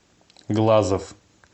глазов